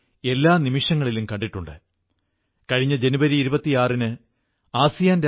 ഇന്ന് നിങ്ങളെല്ലാവരും വളരെ സംയമനത്തോടെ കഴിയുന്നു പരിധികൾക്കുള്ളിൽ കഴിഞ്ഞുകൊണ്ട് ഈ പുണ്യദിനം ആഘോഷിക്കുകയാണ്